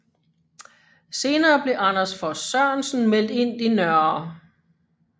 Senere blev Anders Vos Sørensen meldt ind i Nr